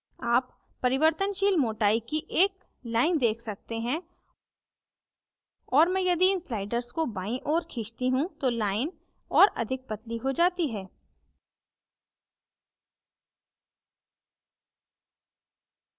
आप परिवर्तनशील मोटाई की एक line देख सकते हैं और यदि मैं इन sliders को बाईं ओऱ खींचती you तो line और अधिक पतली हो जाती है